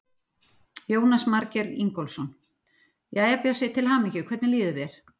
Jónas Margeir Ingólfsson: Jæja, Bjössi, til hamingju, hvernig líður þér?